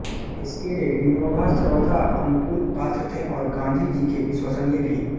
इसके लिए विनोबा सर्वथा अनुकूल पात्र थे और गांधी जी के विश्वसनीय भी